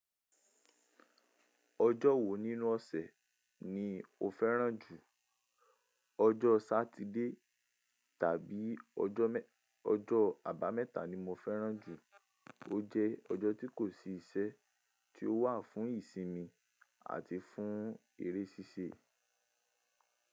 Ọjọ́ wo nínú ọ̀sẹ̀ ni o fẹ́ràn jù? Ọjọ́ Satide tàbí ọjọ́ Àbámẹ́ta ni mo fẹ́ràn jù. O jẹ́ ọjọ́ tí kò sí iṣẹ́, tí ó wà fún ìsinmi àti fún eré ṣíṣe.